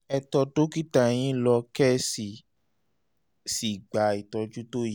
ẹ tọ́ dókítà yín lọ kẹ́ ẹ sì sì gba ìtọ́jú tó yẹ